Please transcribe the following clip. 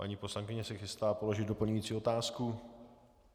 Paní poslankyně se chystá položit doplňující otázku.